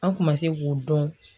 An kun ma se k'o dɔn